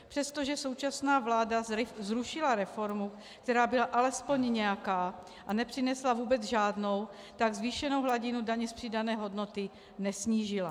Přestože současná vláda zrušila reformu, která byla alespoň nějaká, a nepřinesla vůbec žádnou, tak zvýšenou hladinu daně z přidané hodnoty nesnížila.